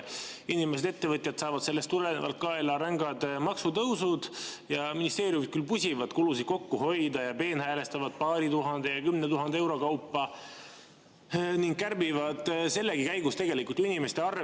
Inimesed ja ettevõtjad saavad sellest tulenevalt kaela rängad maksutõusud ja ministeeriumid küll pusivad, et kulusid kokku hoida, ja peenhäälestavad paari tuhande ja kümne tuhande euro kaupa, aga kärbivad sellegi käigus tegelikult inimeste arvelt.